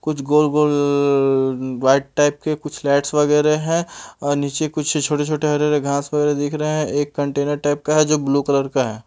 कुछ गोल गोल वाइट टाइप के रेट्स वगैरह है नीचे कुछ छोटे छोटे हरे हरे घास वगैरह दिख रहे है एक कंटेनर टाइप का है जो ब्लू कलर का है।